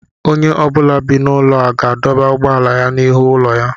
Onye ọ bụla bi n'ụlọ ga-adọba ụgbọala ya n'ihu ụlọ ya.